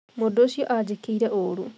Mũndũũcio anjĩkĩire ũru